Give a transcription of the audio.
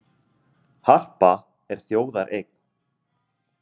Harpa er þjóðareign